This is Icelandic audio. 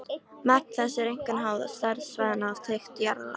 Magn þess er einkum háð stærð svæðanna og þykkt jarðlaga.